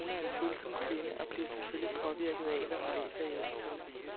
Min kone er en følsom kvinde og bliver selvfølgelig påvirket af, hvad hun læser i aviserne.